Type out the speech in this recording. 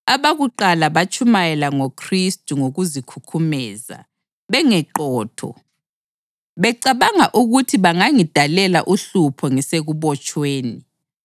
Abakuqala batshumayela ngoKhristu ngokuzikhukhumeza, bengeqotho, becabanga ukuthi bangangidalela uhlupho ngisekubotshweni.